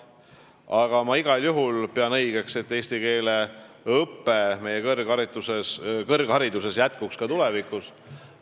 Aga ma pean igal juhul õigeks, et eestikeelne õpe meie kõrghariduses jätkuks ka tulevikus.